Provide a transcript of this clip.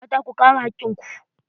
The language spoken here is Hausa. Mata, ku kare hakkin ku.